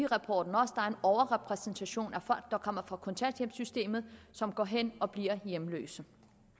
rapporten også der er en overrepræsentation af folk der kommer fra kontanthjælpssystemet som går hen og bliver hjemløse